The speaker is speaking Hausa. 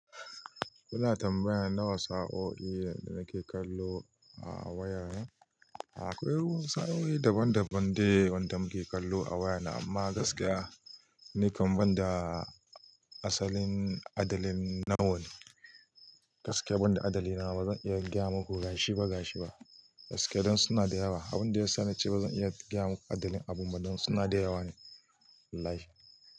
Kuna tambayar nawa sa'o'i da nake kallo a wayana? Akwai wansu sa'o'i daban-daban da wanda muke kallo a wayana, amma gaskiya, ni kam banda asalin adalin nawa ne. Gaskiya banda adali na bazan iya gyama ku gashi ba gashi ba. Gaskiya don suna da yawa. Abin da ya sa ni ce bazan iya gayama ku adalin abun ba don suna da yawa ne. Wallahi.